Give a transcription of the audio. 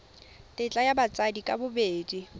tetla ya batsadi ka bobedi